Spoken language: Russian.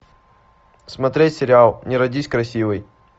смотреть сериал не родись красивой